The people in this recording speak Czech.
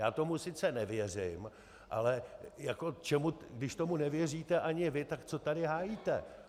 Já tomu sice nevěřím, ale když tomu nevěříte ani vy, tak co tady hájíte?